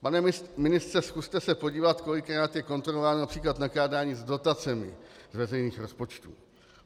Pane ministře, zkuste se podívat, kolikrát je kontrolováno například nakládání s dotacemi z veřejných rozpočtů.